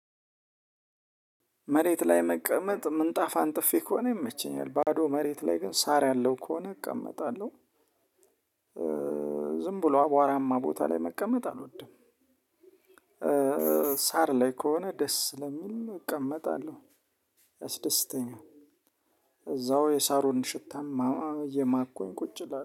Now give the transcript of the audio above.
መሬት ላይ መቀመጥ ምንጣፍ አንጥፌ ከሆነ ይመቸኛል ባዶ መሬት ላይ ግን ሳር ያለው ከሆነ እቀመጣለሁ። ዝም ብሎ አቧራማ ቦታ ላይ መቀመጥ አልወድም። ሳር ላይ ከሆነ ደስ ስለሚል እቀመጣለሁ ያስደስተኛል። እዛው የሳሩን ሽታም እየማኩኝ ቁጭ እላለሁ